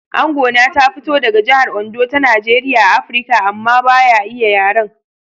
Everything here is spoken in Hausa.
Angona ta fito daga jihar Ondo ta Najeriya a Afirka amma ba ya iya yaren.